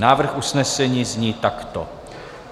Návrh usnesení zní takto: